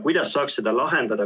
Kuidas saaks seda lahendada?